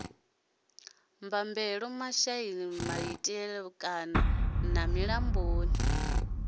bambela maishani mativhani na milamboni